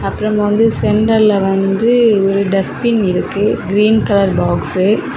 அப்புறம் வந்து சென்டர்ல வந்து ஒரு டஸ்ட்பின் இருக்கு கிரீன் கலர் பாக்ஷூ .